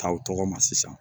K'aw tɔgɔ ma sisan